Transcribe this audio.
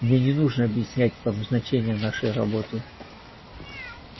мне не нужно объяснять вам значение нашей работы